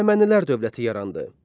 Əhəmənilər dövləti yarandı.